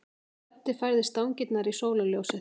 Böddi færði stangirnar í sólarljósið.